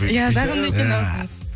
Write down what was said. иә жағымды екен дауысыңыз